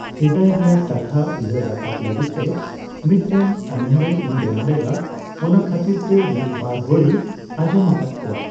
ᱥᱮᱫᱟᱭ ᱨᱮᱭᱟᱜ ᱠᱟᱛᱷᱟ ᱩᱭᱦᱟᱹᱨ ᱨᱟᱠᱟᱵ ᱞᱟᱹᱜᱤᱫ ᱛᱮ ᱢᱤᱫᱴᱮᱱ ᱚᱱᱚᱬᱦᱮᱸ ᱤᱧ ᱵᱮᱱᱟᱣ ᱞᱮᱫᱟ᱾ ᱚᱱᱟ ᱠᱷᱟᱹᱛᱤᱨ ᱛᱮ ᱢᱤᱫᱼᱵᱟᱨ ᱦᱚᱲᱤᱧ ᱟᱸᱡᱚᱢᱟᱠᱟᱫ ᱠᱚᱣᱟ᱾